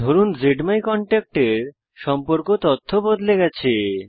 ধরুন জ্মাইকন্ট্যাক্ট এর সম্পর্ক তথ্য বদলে গেছে